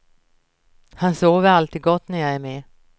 Han sover alltid gott när jag är med.